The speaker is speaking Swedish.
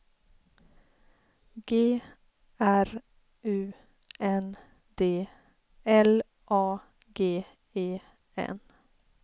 G R U N D L A G E N